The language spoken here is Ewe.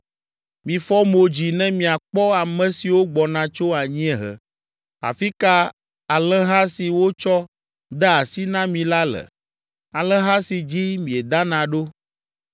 Mifɔ mo dzi ne miakpɔ ame siwo gbɔna tso anyiehe. Afi ka alẽha si wotsɔ de asi na mi la le, alẽha si dzi miedana ɖo?